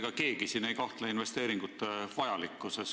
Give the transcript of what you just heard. Ega keegi siin ei kahtle investeeringute vajalikkuses.